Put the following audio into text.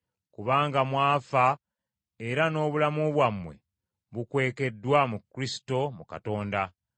kubanga mwafa era n’obulamu bwammwe bukwekeddwa mu Kristo mu Katonda.